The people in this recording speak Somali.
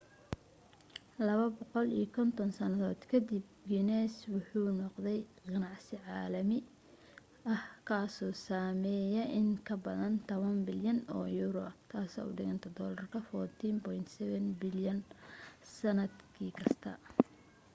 250 sannadood ka dib guiness waxa uu noqday ganacsi caalami ah kaasoo sameeya in ka badan 10 bilyan oo yuuro us$14.7 bilyan sannad kasta